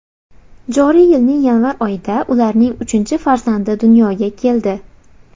Joriy yilning yanvar oyida ularning uchinchi farzandi dunyoga keldi.